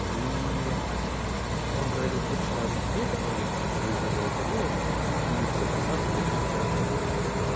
и он проводил кучу разных людей которые выиграли лотерею и все просаживали и жили гораздо хуже